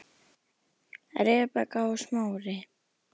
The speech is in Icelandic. Rebekka og Smári.